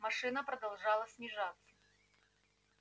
машина продолжала снижаться